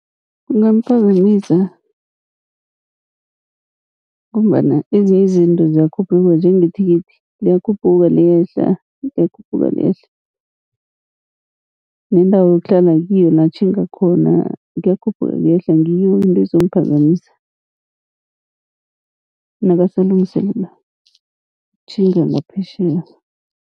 Kungamphazamisa ngombana ezinye izinto ziyakhuphuka, njengethikithi liyakhuphuka liyehla liyakhuphuka liyehla. Nendawo ayokuhlala kiyo la atjhinga khona kuyakhuphuka kuyehla ngiyo into ezomphazamisa, nakasalungiselela ukutjhinga ngaphetjheya.